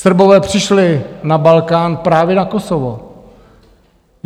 Srbové přišli na Balkán právě na Kosovo.